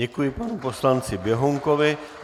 Děkuji panu poslanci Běhounkovi.